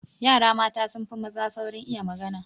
Yara mata sun fi maza saurin iya magana.